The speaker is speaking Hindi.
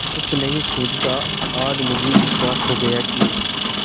कुछ नहीं सूझता आज मुझे विश्वास हो गया कि